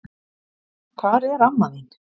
Hvar er amma þín?